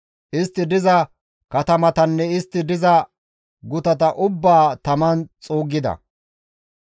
Istti diza katamatanne istti diza gutata ubbaa taman xuuggida.